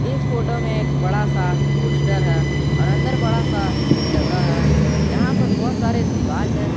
इस फोटो में एक बड़ा सा पोस्टर है और अंदर बड़ा सा जगह है जहां पर बहुत सारे दीवाल हैं।